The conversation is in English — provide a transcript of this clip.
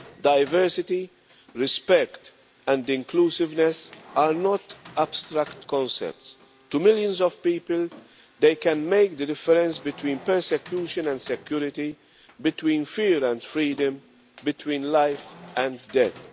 at home. Diversity, respect and inclusiveness are not abstract concepts. To millions of people, they can make the difference between persecution and security, between fear and freedom, between life and